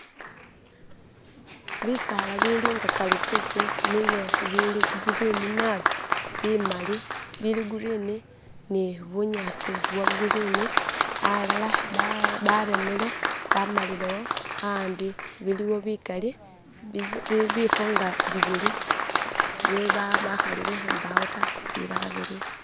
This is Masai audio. Bisaala bilinga kalituusi nibyo bili green nabi, bimali, bili green ni bunyasi bwa green alara batemere bamalirewo andi biliwo bigali bifo nga bibiri bakalire mpawo da bilara biliwo.